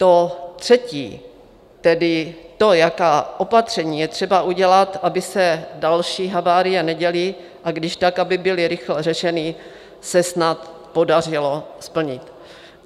To třetí, tedy to, jaká opatření je třeba udělat, aby se další havárie neděly, a když tak aby byly rychle řešeny, se snad podařilo splnit.